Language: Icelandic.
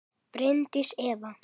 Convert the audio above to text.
Bryndís Eva.